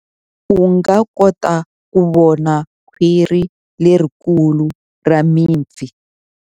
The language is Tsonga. U nga kota ku vona khwiri lerikulu ra mipfi.